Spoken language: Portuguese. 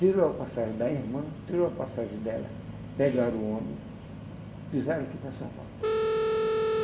Tirou a passagem da irmã, tirou a passagem dela, pegaram o ônibus, pisaram aqui para São Paulo.